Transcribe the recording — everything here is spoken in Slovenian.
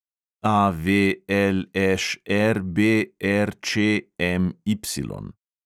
AVLŠRBRČMY